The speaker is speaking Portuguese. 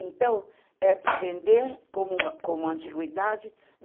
Então, é para vender, como antiguidade.